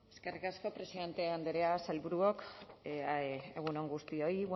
eskerrik asko presidente andrea sailburuok egun on guztioi